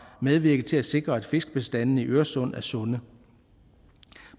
medvirket til at sikre at fiskebestandene i øresund er sunde